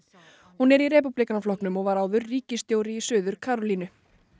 hún er í Repúblíkaflokknum og var áður ríkisstjóri í Suður Karólínu